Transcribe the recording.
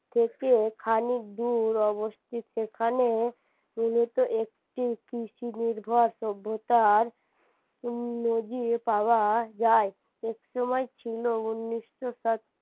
থেকে খানিক দূর অবস্তিত এখানে মূলত একটি কৃষি নির্ভর সভ্যতার উম নজির পাওয়া যায় একসময় ছিল উন্নিশশো